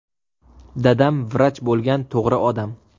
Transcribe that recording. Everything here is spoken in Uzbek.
Dadam vrach bo‘lgan, to‘g‘ri odam.